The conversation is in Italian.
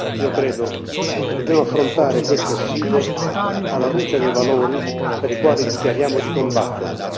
Io credo che dobbiamo affrontare queste sfide alla luce dei valori per i quali dichiariamo di combattere.